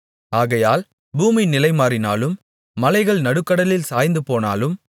ஆகையால் பூமி நிலைமாறினாலும் மலைகள் நடுக்கடலில் சாய்ந்துபோனாலும்